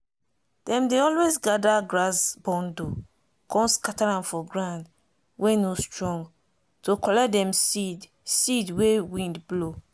dem dey always gather grass bundle con scatter am for ground wey no strong to collect dem seed seed wey wind blow.